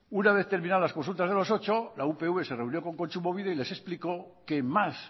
una vez terminadas las consultas de los ocho la upv se reunió con kontsumobide y les explicó que más